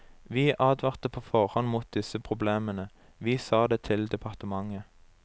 Vi advarte på forhånd mot disse problemene, vi sa det til departementet.